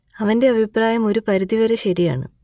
അവന്റെ അഭിപ്രായം ഒരു പരിധി വരെ ശരിയാണ്